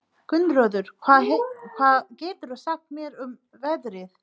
Gunnröður, hvað geturðu sagt mér um veðrið?